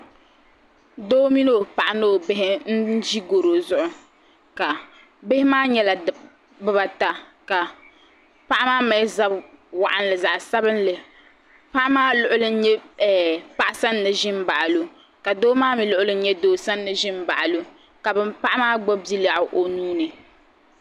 Doo mini o paɣa ni o bihi n ʒi gɔro zuɣu bihi maa nyɛla bibaata ka paɣa maa mali zabi waɣanli zaɣsabinli paɣa maa luɣuli n nye paɣa sani ni ʒini gaɣa lo ka doo maa mi luɣuli n nye doosani ʒini baɣili o.